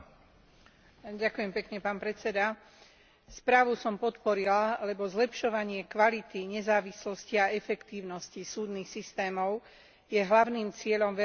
Správu som podporila, lebo zlepšovanie kvality, nezávislosti a efektívnosti súdnych systémov je hlavným cieľom verejnej politiky na európskej i národnej úrovni.